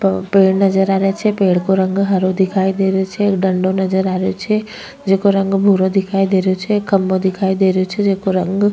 पेड़ नजर आ रहे छे पेड़ को रंग हरो दिखाई देरो छे एक डण्डो नजर आ रेहो छे जेको रंग भूरो दिखाई देरो छे एक खम्भों दिखाई दे रेहो छे जेको रंग --